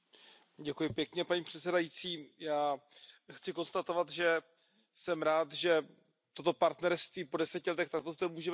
Paní předsedající, já chci konstatovat, že jsem rád, že toto partnerství po deseti letech zde můžeme vyhodnocovat.